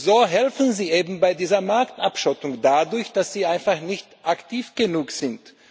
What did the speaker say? So helfen Sie eben bei dieser Marktabschottung dadurch, dass Sie einfach nicht aktiv genug sind.